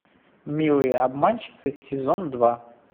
милые обманщицы сезон два